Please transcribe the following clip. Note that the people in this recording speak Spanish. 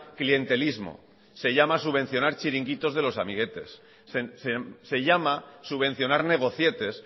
clientelismo subvencionar chiringuitos de los amiguetes se llama subvencionar negocietes